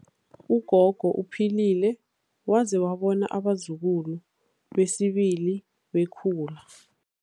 Ugogo uphilile waze wabona abazukulu besibili bekhula.